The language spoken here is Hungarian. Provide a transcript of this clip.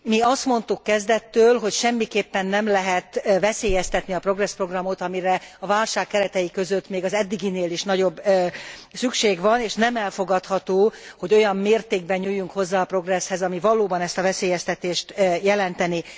Mi azt mondtuk kezdettől, hogy semmiképpen nem lehet veszélyeztetni a Progress programot, amire a válság keretei között még az eddiginél is nagyobb szükség van, és nem elfogadható, hogy olyan mértékben nyúljunk hozzá a Progresszhez, ami valóban ezt a veszélyeztetést jelentené.